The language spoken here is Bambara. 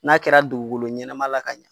N'a kɛra dugukolo ɲɛnama la ka ɲɛ.